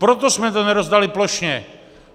Proto jsme to nerozdali plošně.